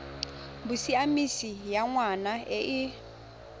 bosiamisi ya ngwana e e